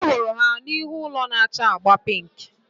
Anyị hụrụ ha n'ihu ụlọ na-acha agba pink